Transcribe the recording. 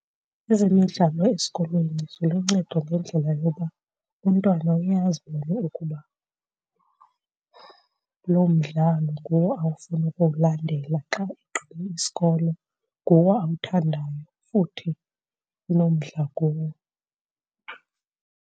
Ezemidlalo esikolweni ziluncedo ngendlela yoba umntwana uye azibone ukuba loo mdlalo nguwo awufuna ukuwulandela xa egqibe isikolo, nguwo awuthandayo futhi unomdla kuwo.